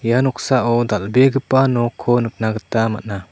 ia noksao dal·begipa noko nikna gita man·a.